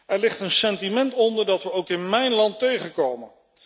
Er ligt een sentiment onder dat we ook in mijn land tegenkomen.